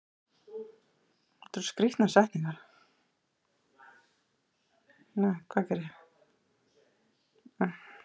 Að innanverðu skiptir skilrúm honum í tvennt og er eitt eista hvorum megin við það.